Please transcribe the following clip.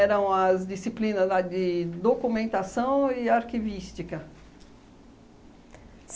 Eram as disciplinas lá de documentação e arquivística.